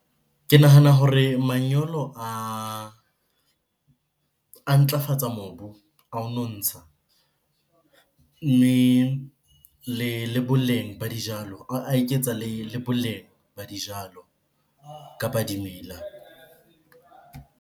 Ke nahana hore manyolo a ntlafatsa mobu a ho nontsha. Mme le boleng ba dijalo a eketsa le boleng ba dijalo kapa dimela.